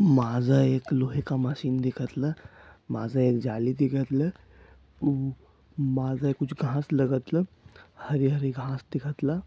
माझ एक लोहे का मशीन दिखतल माझ एक जाली दिखतल माझ एक घास लगतल हरे हरे घास दिखतल